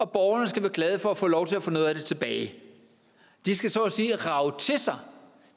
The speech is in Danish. borgerne skal være glade for at få lov til at få noget af det tilbage de skal så at sige rage til sig